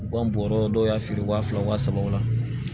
U ka bɔrɔ dɔw y'a feere wa fila wa sabaw la